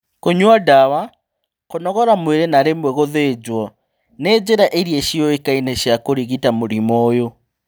Kũnyua dawa, kũnogora mwĩrĩ na rĩmwe gũthĩnjwo, nĩ njĩra irĩa ciũĩkaine cia kũrigita mũrimũ ũyũ